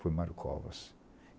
Foi Mário Covas.